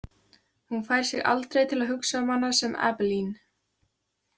Hún fær sig aldrei til að hugsa um hana sem Abeline.